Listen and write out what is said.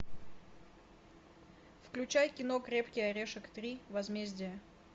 включай кино крепкий орешек три возмездие